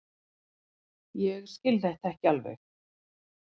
Ég skil þetta ekki alveg.